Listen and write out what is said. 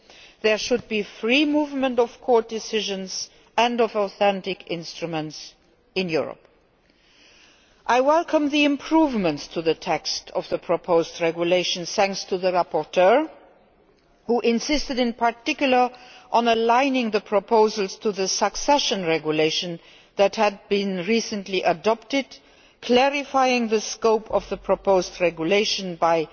and there should be free movement of court decisions and authentic instruments in Europe. I welcome the improvements to the text of the proposed regulations, thanks to the rapporteur, who insisted in particular on aligning the proposals to the Succession Regulation that had recently been adopted and clarifying the scope of the proposed regulation